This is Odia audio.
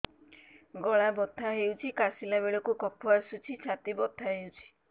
ଗଳା ବଥା ହେଊଛି କାଶିଲା ବେଳକୁ କଫ ଆସୁଛି ଛାତି ବଥା ହେଉଛି